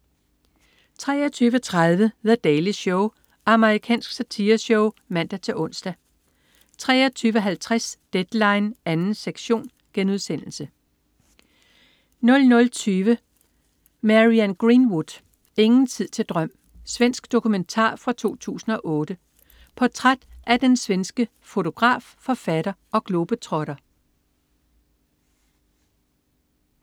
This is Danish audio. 23.30 The Daily Show. Amerikansk satireshow (man-ons) 23.50 Deadline 2. sektion* 00.20 Marianne Greenwood. Ingen tid til drøm. Svensk dokumentar fra 2008. Portræt af den svenske fotograf, forfatter og globetrotter